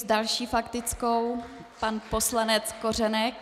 S další faktickou pan poslanec Kořenek.